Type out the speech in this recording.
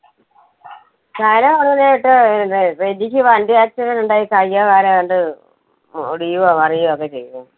പറയുന്ന കേട്ടു എന്താ റെജിക്ക് വണ്ടി accident ഉണ്ടായി കൈയ്യൊ കാലോ ഏതാണ്ട് ഒ~ഒടിയുകയോ മറിയുകയോ ഒക്കെ ചെയ്തു എന്ന്.